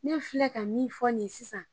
Ne filɛ ka min fɔ nin ye sisan